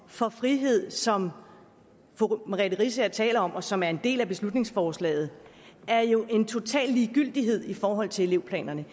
for frihed som fru merete riisager taler om og som er en del af beslutningsforslaget er jo en total ligegyldighed i forhold til elevplanerne